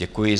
Děkuji.